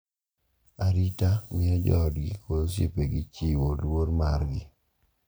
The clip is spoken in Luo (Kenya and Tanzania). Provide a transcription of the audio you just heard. Arita miyo joodgi kod osiepegi chiwo luor margi,